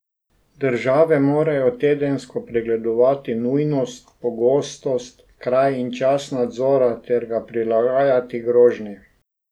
Države morajo tedensko pregledovati nujnost, pogostnost, kraj in čas nadzora ter ga prilagajati grožnji.